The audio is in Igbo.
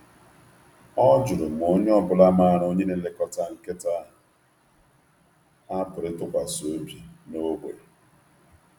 Ọ jụrụ ma onye ọ bụla maara onye na-elekọta nkịta a pụrụ ịtụkwasị obi n’ógbè.